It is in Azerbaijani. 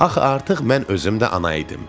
Axı artıq mən özüm də ana idim.